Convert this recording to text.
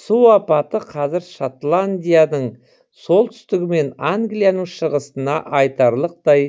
су апаты қазір шотландияның солтүстігі мен англияның шығысына айтарлықтай